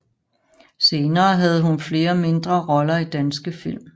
Senere havde hun flere mindre roller i danske film